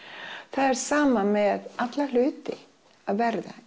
það er sama með alla hluti að verða